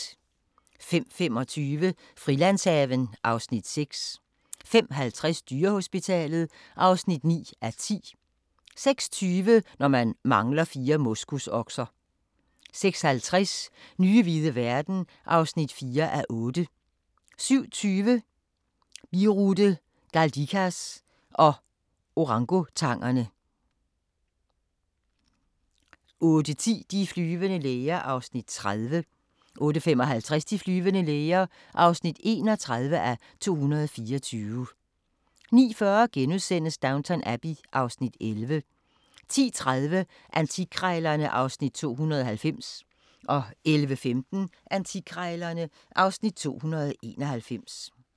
05:25: Frilandshaven (Afs. 6) 05:50: Dyrehospitalet (9:10) 06:20: Når man mangler fire moskusokser 06:50: Nye hvide verden (4:8) 07:20: Birute Galdikas og orangutangerne 08:10: De flyvende læger (30:224) 08:55: De flyvende læger (31:224) 09:40: Downton Abbey (Afs. 11)* 10:30: Antikkrejlerne (Afs. 290) 11:15: Antikkrejlerne (Afs. 291)